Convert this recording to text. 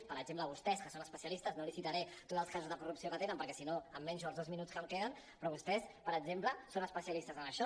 per exemple vostès que en són especialistes no li citaré tots els casos de corrup·ció que tenen perquè sinó em menjo els dos minuts que me queden però vostès per exemple són especialistes en això